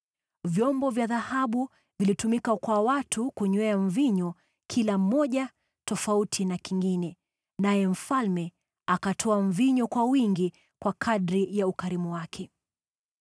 Vyombo vya dhahabu vilitumika kwa watu kunywea mvinyo, kila kimoja tofauti na kingine, naye mfalme akatoa mvinyo kwa wingi kwa kadiri ya ukarimu wake.